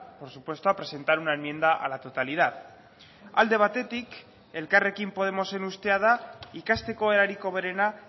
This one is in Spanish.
por supuesto a presentar una enmienda a la totalidad alde batetik elkarrekin podemosen ustea da ikasteko erarik hoberena